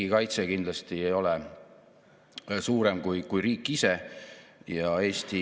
Lisaks on minu valitsemisalaga seotud teine strateegiline eesmärk, et Eesti riigivalitsemine on usaldusväärne, inimesekeskne ja uuendusmeelne.